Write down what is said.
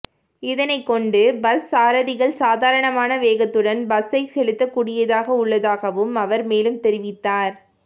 இதனைக்கொண்டு bus சாரதிகள் சாதாரண வேகத்துடன் பஸ்ஸை செலுத்தக் கூடியதாக உள்ளதாகவும் அவர் மேலும் தெரிவித்தார்